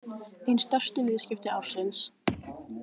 Ein stærstu viðskipti ársins